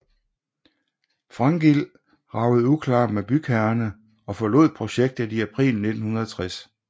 Frankild ragede uklar med bygherrerne og forlod projektet i april 1960